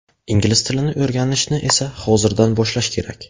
Ingliz tilini o‘rganishni esa hozirdan boshlash kerak.